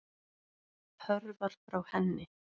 Hörfar frá henni.